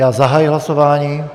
Já zahajuji hlasování.